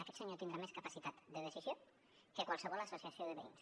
aquest senyor tindrà més capacitat de decisió que qualsevol associació de veïns